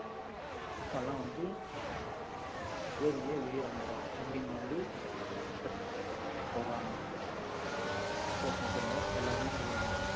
அழுக்கு எல்லாம் வந்து ஆஹ் வேர்வையா வெளியே வந்துரும், அப்படின்னு வந்த அஹ் doctors வந்து சொல்றாங்க doctors மட்டும் இல்லை எல்லாருமே சொல்லுவாங்க